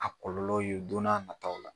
A kɔlɔlɔw ye don n'a nataw la